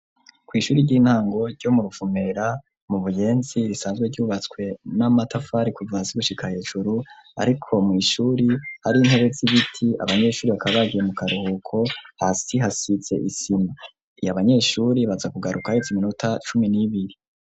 Kw'ishure ry'intango ryo mu ruvumera ryo mu buyenzi risanzwe ryubatswe n'amatafari kuva hasi gushika hejuru ariko mw'ishure hari intebe z'ibiti abanyeshure bakaba bagiye mu karuhuko hasi hasize isima na banyeshure baza kugaruka haheze iminota cumi n'ibiri.